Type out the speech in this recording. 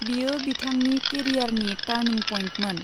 बियो बिथांनि केरियारनि टार्निं पइन्टमोन।